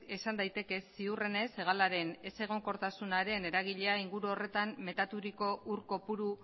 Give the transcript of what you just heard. esan daiteke ziurrenez hegalaren ezegonkortasunaren eragilea inguru horretan metaturiko ur kopuru